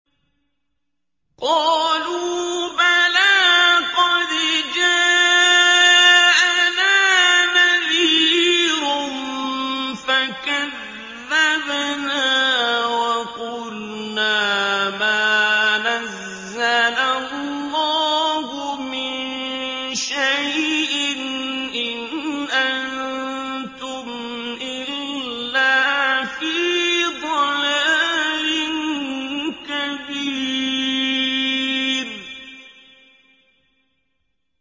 قَالُوا بَلَىٰ قَدْ جَاءَنَا نَذِيرٌ فَكَذَّبْنَا وَقُلْنَا مَا نَزَّلَ اللَّهُ مِن شَيْءٍ إِنْ أَنتُمْ إِلَّا فِي ضَلَالٍ كَبِيرٍ